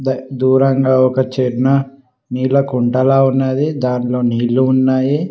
దూరంగా ఒక చిన్న నీలకుంటలా ఉన్నది దాంట్లో నీళ్లు ఉన్నాయి.